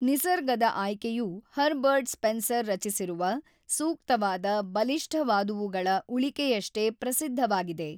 ನಿಸರ್ಗದ ಆಯ್ಕೆಯು Herbert Spencer ರಚಿಸಿರುವ ಸೂಕ್ತವಾದ ಬಲಿಷ್ಠವಾದವುಗಳ ಉಳಿಕೆಯಷ್ಟೇ ಪ್ರಸಿದ್ಧವಾಗಿದೆ.